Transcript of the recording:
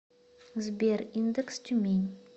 сбер индекс тюмень